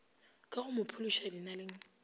ka go mo phološa dinaleng